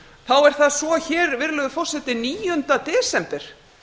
þá er það svo hér virðulegi forseti níunda desember